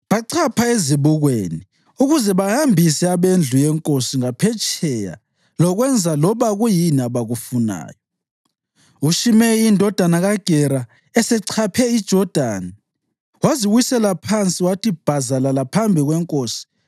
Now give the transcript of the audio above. Bachapha ezibukweni ukuze bahambise abendlu yenkosi ngaphetsheya lokwenza loba kuyini ekufunayo. UShimeyi indodana kaGera esechaphe iJodani, waziwisela phansi wathi bhazalala phambi kwenkosi